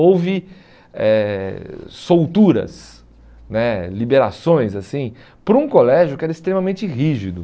Houve eh solturas né, liberações, assim, por um colégio que era extremamente rígido.